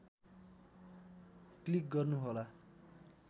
click गर्नुहोला